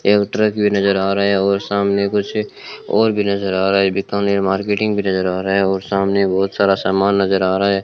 एक ट्रक भी नजर आ रहा है और सामने कुछ और भी नजर आ रहा है बीकानेर मार्केटिंग भी नजर आ रहा है वह सामने बहुत सारा सामान नजर आ रहा है।